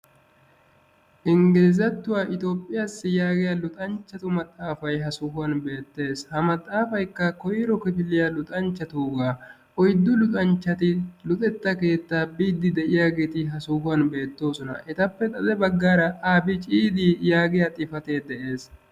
Ingglizatuwaa Itoophiyaassi yaagiyaa maxaafay ha sohuwan beettees. ha maxafaykka koyro kifiliyaa luxanchchatuuga. oyddu luxanchchati timirtte keettaa biide de'iyaageeti ha sohuwan beettoosona. hegadankka etappe xade abggara ABCD yaagiyaa xifaate de'ees.